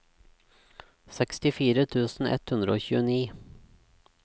sekstifire tusen ett hundre og tjueni